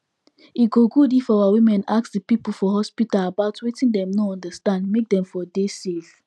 e go good if our women ask the people for hospital about wetin dem no understand make dem for dey safe